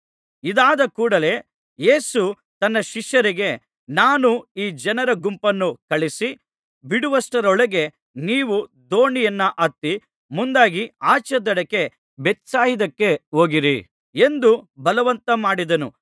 ಇದಾದ ಕೂಡಲೆ ಯೇಸು ತನ್ನ ಶಿಷ್ಯರಿಗೆ ನಾನು ಈ ಜನರ ಗುಂಪನ್ನು ಕಳುಹಿಸಿ ಬಿಡುವಷ್ಟರೊಳಗೆ ನೀವು ದೋಣಿಯನ್ನ ಹತ್ತಿ ಮುಂದಾಗಿ ಆಚೇದಡಕ್ಕೆ ಬೇತ್ಸಾಯಿದಕ್ಕೆ ಹೋಗಿರಿ ಎಂದು ಬಲವಂತಮಾಡಿದನು